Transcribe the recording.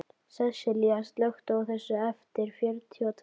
Sessilía, slökktu á þessu eftir fjörutíu og tvær mínútur.